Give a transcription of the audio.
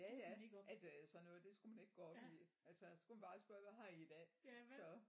Jaja at øh sådan noget det skulle man ikke gå op i altså så skulle man bare spørge hvad har i i dag så